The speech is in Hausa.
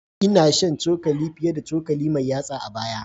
Ina shan cokali fiye da cokali mai yatsa a baya